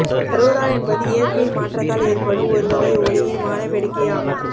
அரோரா என்பது இயற்கையின் மாற்றத்தால் ஏற்படும் ஒரு வகை ஒளியின் வாண வேடிக்கை ஆகும்